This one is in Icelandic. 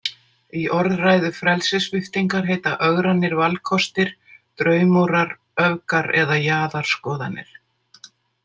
Í orðræðu frelsissviptingar heita ögrandi valkostir „draumórar“ , „öfgar“ eða „jaðarskoðanir“.